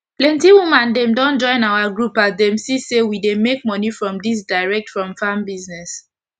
plenty woman dem don join our group as dem see say we dey make moni from dis direct from farm business